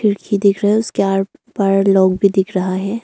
खिड़की दिख रहा उसके आर पार लोग भी दिख रहा है।